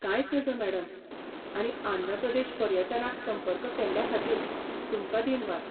कांयच नज मॅडम आनी आंध्र प्रदेश पर्यटनाक संपर्क केल्ल्याखातीर तुमकां दीनवास.